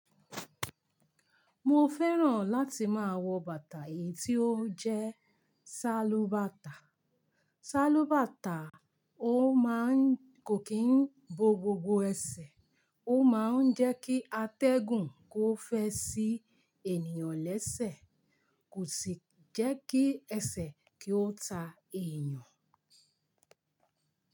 Mo fẹ́ràn láti máa wọ bàtà yìí tí ó jẹ́ sálúbàtà. Sálúbàtà kò kí ń bo gbogbo ẹsẹ̀, ó máa ń jẹ́ kí a tẹ́gùn kó fẹ́ sí ènìyàn lẹ́sẹ̀, kò sì jẹ́ kí ẹsẹ̀ kí ó ta èèyàn.